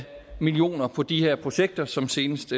millioner på de her projekter som senest